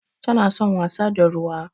Tana son wasa da ruwa.